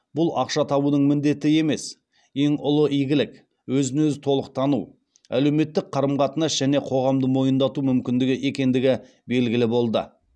бұл ақша табудың міндеті емес ең ұлы игілік өзін өзі толық тану әлеуметтік қарым қатынас және қоғамды мойындату мүмкіндігі екендігі белгілі болды